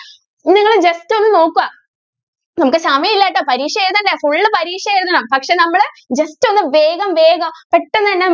നിങ്ങൾ just ഒന്ന് നോക്കുക. നമുക്ക് സമയം ഇല്ലാട്ടോ പരീക്ഷ എഴുതണ്ടേ full പരീക്ഷ എഴുതണം പക്ഷെ നമ്മൾ just ഒന്ന് വേഗം വേഗം പെട്ടെന്ന് തന്നെ